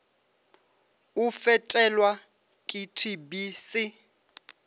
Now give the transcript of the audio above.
o fetelwa ke tb se